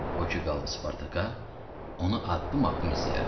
O ki qaldı Spartaka, onu addım-addım izləyərəm.